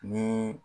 Ni